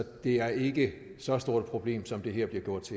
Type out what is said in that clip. det er ikke så stort et problem som det her bliver gjort